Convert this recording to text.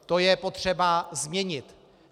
To je potřeba změnit.